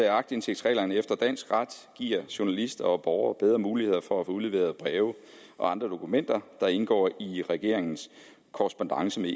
at aktindsigtsreglerne efter dansk ret giver journalister og borgere bedre muligheder for at få udleveret breve og andre dokumenter der indgår i regeringens korrespondance med